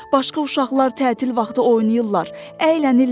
Başqa uşaqlar tətil vaxtı oynayırlar, əylənirlər.